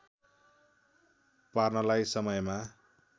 पार्नला‌ई समयमा